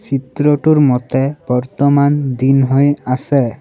চিত্ৰটোৰ মতে বৰ্তমান দিন হৈ আছে।